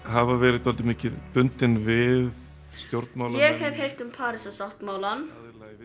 hafa verið dálítið mikið bundnar við stjórnmálamenn ég hef heyrt um Parísarsáttmálann